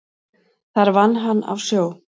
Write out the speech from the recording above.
Þar vann hann á sjó.